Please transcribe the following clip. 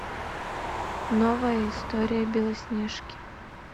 новая история белоснежки